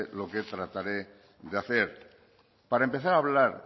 lo que trataré de hacer para empezar a hablar